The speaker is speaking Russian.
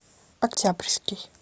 октябрьский